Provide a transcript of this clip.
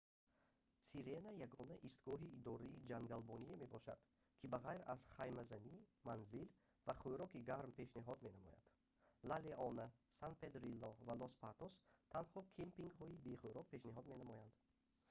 сирена ягона истгоҳи идораи ҷангалбоние мебошад ки ба ғайр аз хаймазанӣ манзил ва хӯроки гарм пешниҳод менамояд ла леона сан педрилло ва лос патос танҳо кемпингҳои бе хӯрок пешниҳод менамоянд